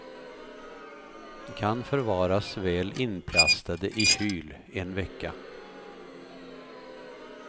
Kan förvaras väl inplastade i kyl en vecka.